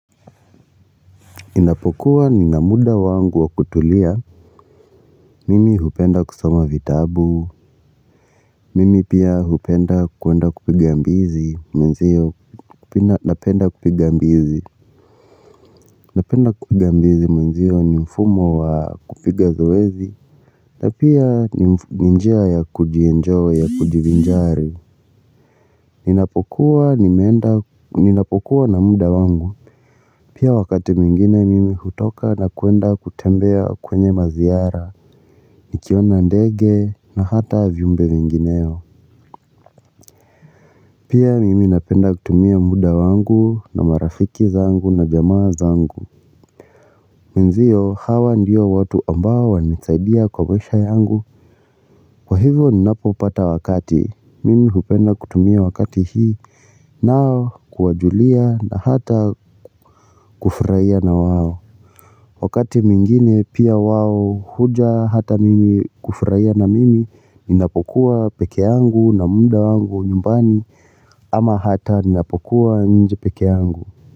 Ninapokuwa ninamuda wangu wa kutulia, mimi hupenda kusoma vitabu, mimi pia hupenda kuenda kupiga mbizi mwenzio, napenda napenda kupiga mbizi mwenzio ni mfumo wa kupiga zoezi, na pia ninjia ya kujienjoy ya kujivinjari. Ninapokuwa na muda wangu pia wakati mingine mimi hutoka na kuenda kutembea kwenye maziara. Nikiona ndege na hata vyumbe vingineo. Pia mimi napenda kutumia muda wangu na marafiki zangu na jamaa zangu. Menziyo hawa ndiyo watu ambao wanitsaidia kwa maisha yangu. Kwa hivo ninapo pata wakati mimi hupenda kutumia wakati hii. Nao kuwajulia na hata kufurahia na wao. Wakati mwingine pia wao huja hata mimi kufurahia na mimi ninapokuwa peke yangu na muda wangu nyumbani. Ama hata ninapokuwa nje peke yangu.